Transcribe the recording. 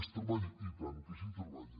es treballa i tant que s’hi treballa